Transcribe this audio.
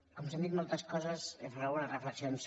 com que s’han dit moltes coses faré algunes reflexi·ons